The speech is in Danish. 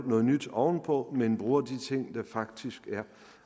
noget nyt oven på men bruger de ting der faktisk er